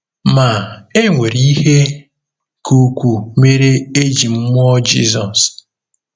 Ma, e nwere ihe ka ukwuu mere e ji mụọ Jizọs.